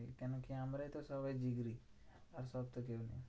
কেন কি আমরাই তো সবাই আর সব তো